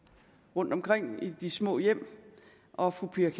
rundtomkring i de små hjem og fru pia